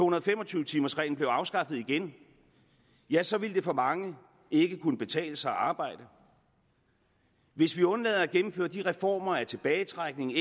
og fem og tyve timers reglen blev afskaffet igen ja så ville det for mange ikke kunne betale sig at arbejde hvis vi undlader at gennemføre de reformer af tilbagetrækning